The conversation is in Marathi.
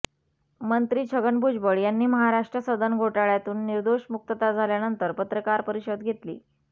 मंत्री छगन भुजबळ यांनी महाराष्ट्र सदन घोटाळ्यातून निर्दोष मुक्तता झाल्यानंतर पत्रकार परिषद घेतली